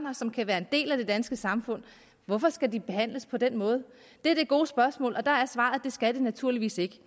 og som kan være en del af det danske samfund hvorfor skal de behandles på den måde det er det gode spørgsmål og der er svaret det skal de naturligvis ikke